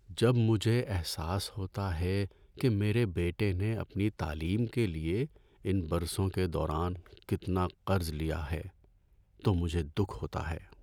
‏جب مجھے احساس ہوتا ہے کہ میرے بیٹے نے اپنی تعلیم کے لیے ان برسوں کے دوران کتنا قرض لیا ہے تو مجھے دکھ ہوتا ہے۔